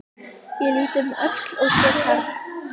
Ég lít um öxl og sé karl